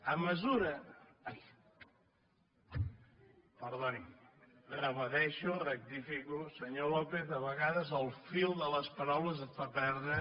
ai perdoni repeteixo rectifico senyor lópez a vegades el fil de les paraules et fa perdre